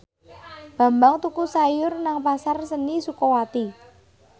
Bambang tuku sayur nang Pasar Seni Sukawati